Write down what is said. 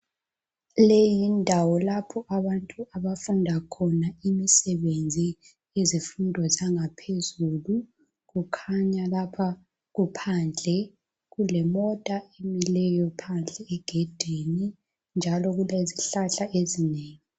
Leyi yindawo abantu abafunda khona imisebenzi yezifundo zangaphezulu. Kukhanya lapha kuphandle kulemota emileyo phandle egedini njalo kulezihlahla ezinengi.